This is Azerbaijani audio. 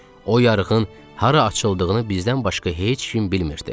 O yarığın hara açıldığını bizdən başqa heç kim bilmirdi.